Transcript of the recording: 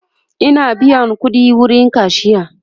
Ina biyan ƙudi wurin kashiya